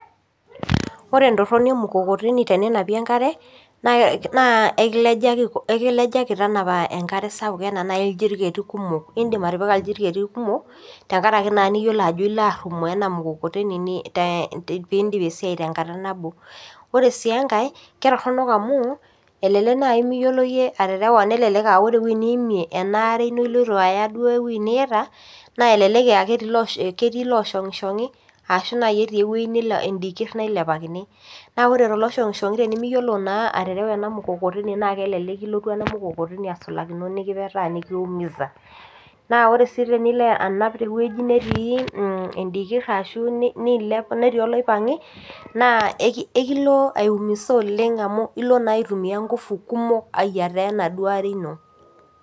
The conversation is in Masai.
koreee entoroni emukokoteni teninapie enkare naa ekilejaki tanapa enkare sapuk enaa naii ilejerikai kumok idim atipika iljerikai kumok tengaraki naa niyiolo ajoo iloo arumooo ina mukokoteni pidip esiai tenkata naboo koreee sii enkae ketoronok amuu elelek naii miyiolo yie aterewaa arashoo elelek koree enewuejii niimie enaare ino iloito ayaa duo ewuwji niyaita nelelek aaah ketiii oloshungishongi' arashoo naii etii edikir nailepakini naa koree too loishongi te nimiyiolo naa aterewa enaa mukokoteni naaa kelelek kilotu ena mukokoteni asulakino nekipeeta nikiumiza naa koree siii tenilo anaap tewueji natii edikir arashoo niilep natii oloipangi' naa ekilo aiumiza oleng amu iloo naa aitumia nguvu kumok amuu iloo naa ayiata enaa duo aree ino.